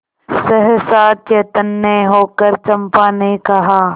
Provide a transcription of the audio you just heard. सहसा चैतन्य होकर चंपा ने कहा